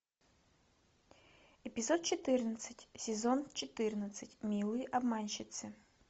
эпизод четырнадцать сезон четырнадцать милые обманщицы